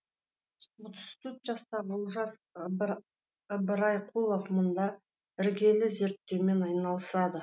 отыз төрт жастағы олжас ыбырайқұлов мұнда іргелі зерттеумен айналысады